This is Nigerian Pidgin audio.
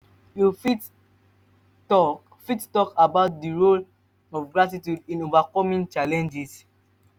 you fit talk fit talk about di role of gratitude in overcoming challenges?